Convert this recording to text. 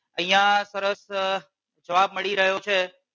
અહિયાં સરસ જવાબ મળી રહ્યો છે.